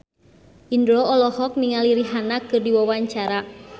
Indro olohok ningali Rihanna keur diwawancara